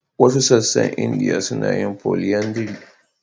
Wasu sassan Indiya suna yin polyandry.